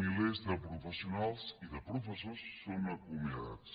milers de professionals i de professors són acomiadats